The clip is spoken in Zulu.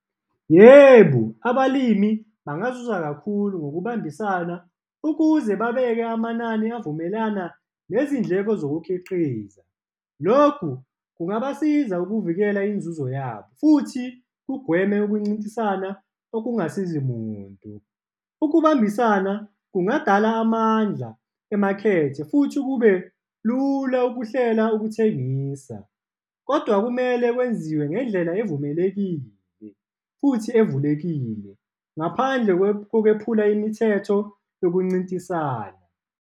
Yebo, abalimi bangazuza kakhulu ngokubambisana ukuze babeke amanani avumelana nezindleko zokukhiqiza. Lokhu kungabasiza ukuvikela inzuzo yabo, futhi kugweme ukuncintisana okungasizi muntu. Ukubambisana kungadala amandla emakhethe, futhi kube lula ukuhlela ukuthengisa, kodwa kumele kwenziwe ngendlela evumelekile futhi evulekile, ngaphandle kokwephula imithetho yokuncintisana.